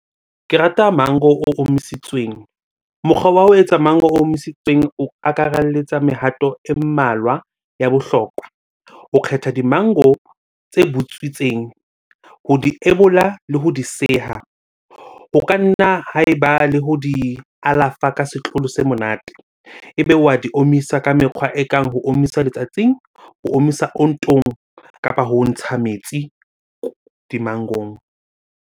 Ke rata mango o omisitsweng. Mokgwa wa ho etsa mango omisitsweng o akaraletsa mehato e mmalwa ya bohlokwa. O kgetha di mango tse butswitseng, ho di ebola le ho di seha. Ho ka nna ha eba le ho di alafa ka setlolo se monate. Ebe wa di omisa ka mekgwa ekang ho omisa letsatsing, ho omisa ontong kapa ho ntsha metsi di-mango-ong.